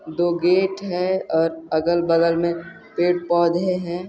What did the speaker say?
दो गेट है और अगल बगल मे पेड़ पौधे है।